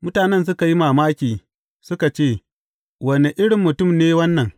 Mutanen suka yi mamaki suka ce, Wane irin mutum ne wannan?